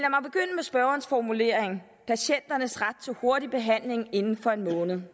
spørgerens formulering patienternes ret til hurtig behandling inden for en måned